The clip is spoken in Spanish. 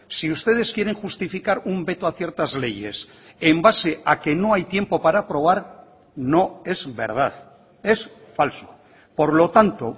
si ustedes quieren justificar un veto a ciertas leyes en base a que no hay tiempo para aprobar no es verdad es falso por lo tanto